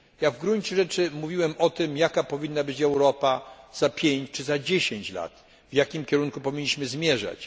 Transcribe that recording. W gruncie rzeczy mówiłem o tym, jaka powinna być Europa za pięć czy za dziesięć lat, w jakim kierunku powinniśmy zmierzać.